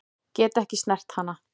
Get ekki snert hana.